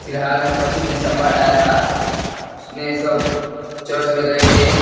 फिलहाल में पच्चीस दिसंबर आया था उसमें सब चर्च में गए थे।